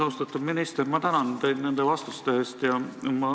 Austatud minister, ma tänan teid nende vastuste eest!